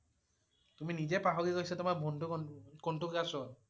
তুমি নিজেই পাহৰি গৈছে তোমাৰ ভন~ভন্টি কোনটো class ত?